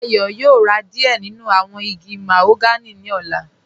Dayọ̀ yóò rá díẹ̀ nínu awọn igi màhóganì ní ọ̀là.